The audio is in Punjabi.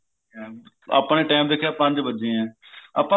ਆਪਾਂ ਨੇ time ਦੇਖਿਆ ਪੰਜ ਵੱਜੇ ਐ ਆਪਾਂ ਫੇਰ